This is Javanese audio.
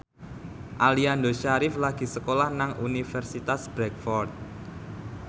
Aliando Syarif lagi sekolah nang Universitas Bradford